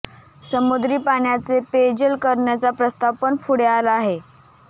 समुद्री पाण्याचे पेयजल करण्याचा प्रस्ताव पण पुढे आला आहे